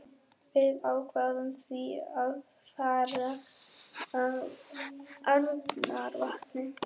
Við ákváðum því að fara að Arnarvatni.